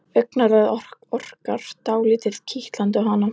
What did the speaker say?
Augnaráðið orkar dálítið kitlandi á hana.